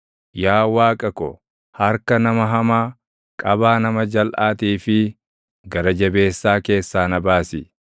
Yaa Waaqa ko, harka nama hamaa, qabaa nama jalʼaatii fi gara jabeessaa keessaa na baasi.